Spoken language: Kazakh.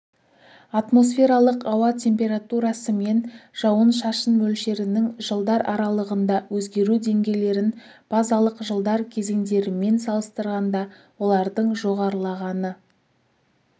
атмосфералық ауа температурасы мен жауын-шашын мөлшерінің жылдар аралығында өзгеру деңгейлерін базалық жылдар кезеңдерімен салыстырғанда олардың жоғарылағаны